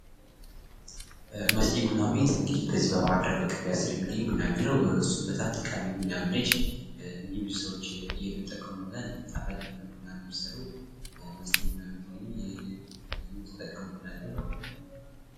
ማስቴ ቡና ቤት እንግዲህ በዚህ በባህር ዳር በቀበሌ አስር የሚገኝ ቡና ቤት ነው ። እሱም በጣም ጠቃሚ ቡና ቤት ነች ። እንዲሁም ብዙ ሰዎች የሚጠቀሙበት ጣፋጭ የሆነ ቡና ነው የምትሰራው ማስቴ ቡና ቤት እንግዲህ ኑ ተጠቀሙ እንላለን ።